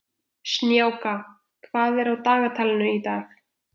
Snjáka, hvað er í dagatalinu í dag?